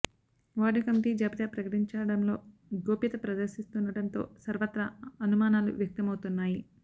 ward committee జాబితా ప్రకటించ డంలో గోప్యత ప్రదర్శిస్తుండటంతో సర్వత్రా అను మానాలు వ్యక్త మవుతున్నాయి